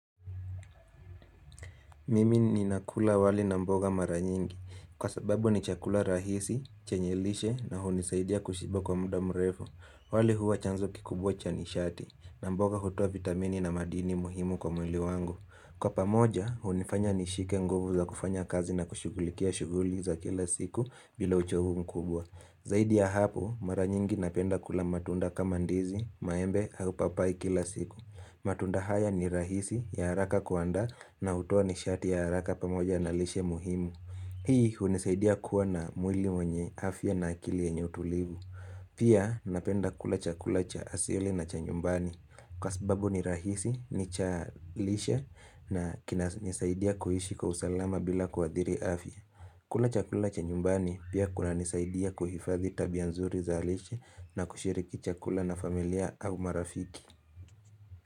Mimi nina kula wali na mboga mara nyingi. Kwa sababu ni chakula rahisi, chanye lishe na hunisaidia kushiba kwa muda mrefu. Wali huwa chanzo kikubwa cha nishati na mboga hutoa vitamini na madini muhimu kwa mwili wangu. Kwa pamoja, hunifanya nishike nguvu za kufanya kazi na kushughulikia shughuli za kila siku bila uchovu mkubwa. Zaidi ya hapo, mara nyingi napenda kula matunda kama ndizi, maembe, au papai kila siku. Matunda haya ni rahisi ya haraka kuandaa na hutoa nishati ya haraka pamoja na lishe muhimu Hii unisaidia kuwa na mwili mwenye afya na akili enye utulivu Pia napenda kula cha kulacha asili na cha nyumbani Kwa sababu ni rahisi ni cha lishe na kina nisaidia kuhishi kwa usalama bila ku adhiri afya kula chakula cha nyumbani pia kuna nisaidia kuhifadhi tabia nzuri za lishe na kushiriki chakula na familia au marafiki.